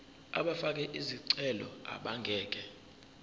abafake izicelo abangeke